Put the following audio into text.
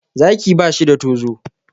Zaki ba shi da tozo.